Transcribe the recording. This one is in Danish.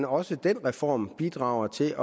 også den reform bidrager til